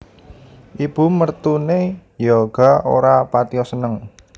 Ibu mertune yga ora patiya seneng